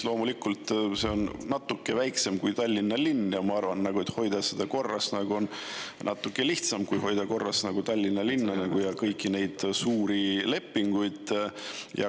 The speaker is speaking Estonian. Loomulikult, see on natuke väiksem kui Tallinna linn, ma arvan, et seda on natuke lihtsam korras hoida kui Tallinna linna ja kõiki neid suuri lepinguid.